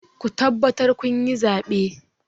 Ku tabbatar kun yi zaɓe!